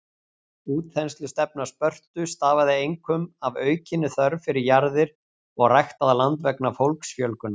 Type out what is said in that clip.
Útþenslustefna Spörtu stafaði einkum af aukinni þörf fyrir jarðir og ræktað land vegna fólksfjölgunar.